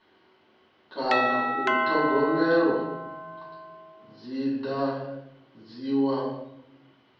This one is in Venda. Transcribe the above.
kana u thogomelwa dzi dadziwa